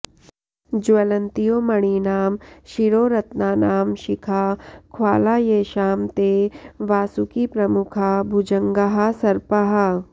ज्वलन्त्यो मणीनां शिरोरत्नानां शिखा ख्वाला येषां ते वासुकिप्रमुखा भुजङ्गाः सर्पाः